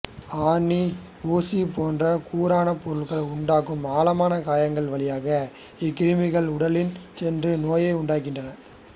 ஆணி ஊசி போன்ற கூரான பொருட்கள் உண்டாக்கும் ஆழமான காயங்கள் வழியாக இக்கிருமிகள் உடலில் சென்று நோயை உண்டாக்குகின்றன